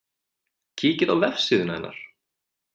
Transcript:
Kíkið á vefsíðuna hennar